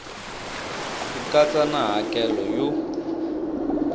ku katsa na hakelo yo